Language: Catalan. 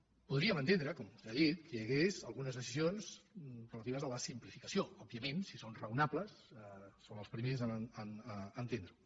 podríem entendre com vostè ha dit que hi hagués algunes decisions relatives a la simplificació òbvi·ament si són raonables són els primers a entendre·ho